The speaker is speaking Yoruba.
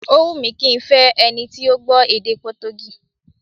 Ó wùn mí kí n fẹ́ ẹni tí ó gbọ́ èdè Potogí